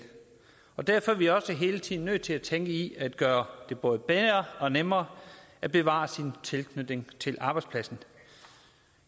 derfor er vi også hele tiden nødt til at tænke i at gøre det både bedre og nemmere at bevare sin tilknytning til arbejdspladsen